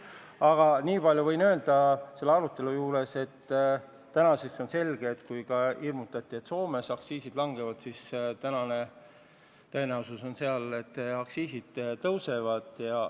Aga nii palju võin öelda selle arutelu juures, et praeguseks on selge, et kuigi hirmutati, et ka Soomes aktsiisid langevad, siis tegelikult seal tõenäoliselt aktsiisid tõusevad.